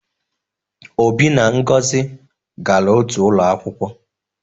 Obi na Ngozi gara otu ụlọ akwụkwọ